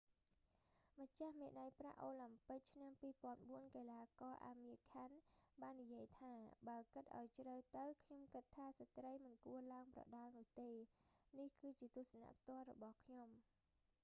ម្ចាស់មេដាយប្រាក់អូឡាំពិកឆ្នាំ 2004 កីឡាករ អាមៀរ ខាន់ amir khan បាននិយាយថា៖ បើគិតឲ្យជ្រៅទៅ ខ្ញុំគិតថាស្ដ្រីមិនគួរឡើងប្រដាល់នោះទេ នេះគឺជាទស្សនៈផ្ទាល់របស់ខ្ញុំ